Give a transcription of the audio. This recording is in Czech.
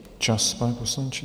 Čas, pane poslanče.